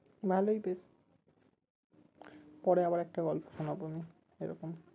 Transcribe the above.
ভালোই পরে আবার একটা গল্প শোনাবো আমি এরকম